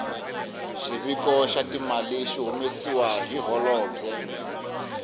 xiviko xa timali xi hundzisa hi holobye